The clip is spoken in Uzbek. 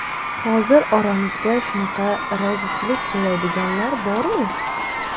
Hozir oramizda shunaqa rozichilik so‘raydiganlar bormi?